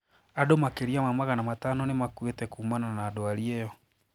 Andũ makiria ma magana matano nimakuite kuumana na dwari iyo.